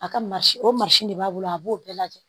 A ka o de b'a bolo a b'o bɛɛ lajɛ